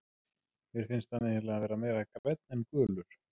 Mér finnst hann eiginlega vera meira grænn en gulur.